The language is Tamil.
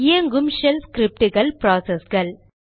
இயங்கும் ஷெல் ஸ்கிரிப்டுகள் ப்ராசஸ்கள்